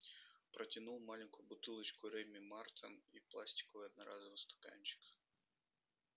протянул маленькую бутылочку реми мартен и пластиковый одноразовый стаканчик